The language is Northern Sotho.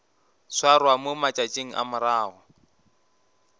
swarwa mo matšatšing a morago